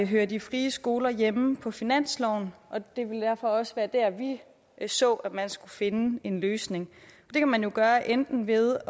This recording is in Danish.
hører de frie skoler hjemme på finansloven og det ville derfor også være der vi så at man skulle finde en løsning det kan man jo gøre enten ved